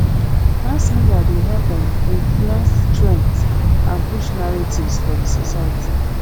mass media dey help um influence trends and push narratives for the society